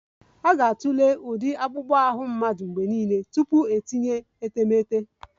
A ga-atụle ụdị akpụkpọ ahụ mmadụ mgbe niile tupu itinye etemeete